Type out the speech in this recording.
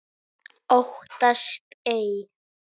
Óttast ei.